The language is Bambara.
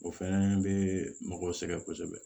O fɛnɛ be mɔgɔw sɛgɛn kosɛbɛ